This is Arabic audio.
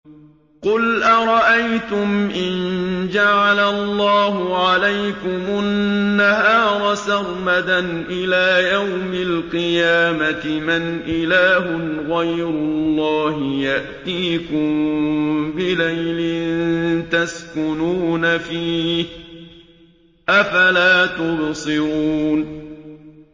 قُلْ أَرَأَيْتُمْ إِن جَعَلَ اللَّهُ عَلَيْكُمُ النَّهَارَ سَرْمَدًا إِلَىٰ يَوْمِ الْقِيَامَةِ مَنْ إِلَٰهٌ غَيْرُ اللَّهِ يَأْتِيكُم بِلَيْلٍ تَسْكُنُونَ فِيهِ ۖ أَفَلَا تُبْصِرُونَ